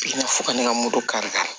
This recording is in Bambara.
Fo ka ne ka moto kari ka